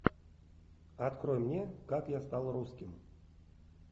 открой мне как я стал русским